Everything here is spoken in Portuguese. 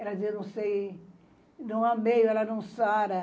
Ela dizia, não sei, não amei, ela não sara.